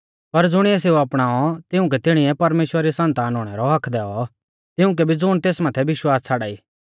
पर ज़ुणिऐ सेऊ अपणाऔ तिउंकै तिणीऐ परमेश्‍वरा री सन्तान हुणै रौ हक्क्क दैऔ तिउंकै भी ज़ुण तेस माथै विश्वास छ़ाड़ाई